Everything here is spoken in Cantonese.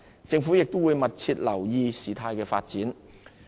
政府亦會密切留意事態發展。